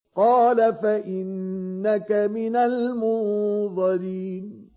قَالَ فَإِنَّكَ مِنَ الْمُنظَرِينَ